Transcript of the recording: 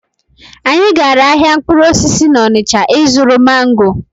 Anyị gara ahịa mkpụrụ osisi n'Ọnịcha ịzụrụ mango.